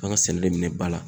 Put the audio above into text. An ka sɛnɛ de minɛn ba la.